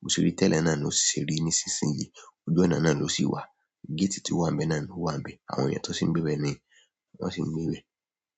Bo ṣe rí tẹ́lẹ̀ náà ni ó ṣì ṣe rí nísinsìnyí. Ojú ọ̀nà náà ló sì wà. Gétì tí ó wà bẹ́ẹ̀ náà ló wà n bẹ́ẹ̀. Àwọn èeyàn tó sì ń gbé bẹ́ẹ̀ ni wọ́n sì ń gbé bẹ́ẹ̀.